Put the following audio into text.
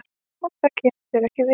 Það kemur þér ekki við.